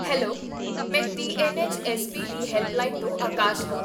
Hello! ਮੈਂ TNHSP. ਦੀ helpline ਤੋਂ ਆਕਾਸ਼ ਹਾਂ